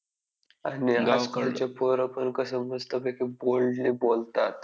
आणि गावाकडची पोरं पण कसं मस्तपैकी boldly बोलतात.